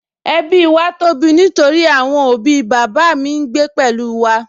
Ẹbí wa tóbi nítorí àwọn òbí bàbá mi ń gbé pẹ̀lú wa